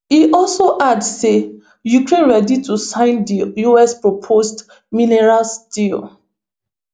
e also add say ukraine ready to sign di us proposed minerals deal